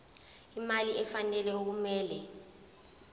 imali efanele okumele